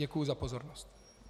Děkuji za pozornost.